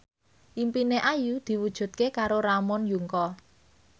impine Ayu diwujudke karo Ramon Yungka